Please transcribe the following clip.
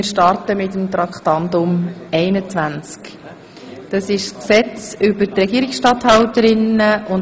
Wir sind nun bei Traktandum 21, einer Änderung des Regierungsstatthaltergesetzes.